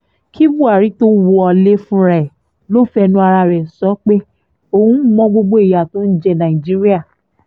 kí buhari tóó wọlé fúnra ẹ ló fẹnu ara rẹ sọ pé òun mọ gbogbo ìyà tó ń jẹ nàìjíríà